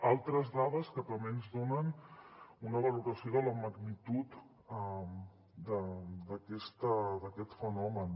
altres dades que també ens donen una valoració de la magnitud d’aquest fenomen